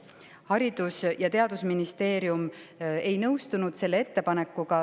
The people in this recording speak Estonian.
Haridus- ja Teadusministeerium ei nõustunud selle ettepanekuga.